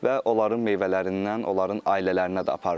Və onların meyvələrindən onların ailələrinə də aparıram.